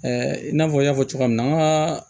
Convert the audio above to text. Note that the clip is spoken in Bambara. i n'a fɔ n y'a fɔ cogo min na an ka